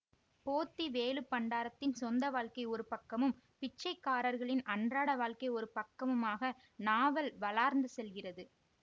போத்திவேலுப்பண்டாரத்தின் சொந்த வாழ்க்கை ஒருபக்கமும் பிச்சைக்காரர்களின் அன்றாட வாழ்க்கை ஒருபக்கமுமாக நாவல் வளார்ந்து செல்கிறது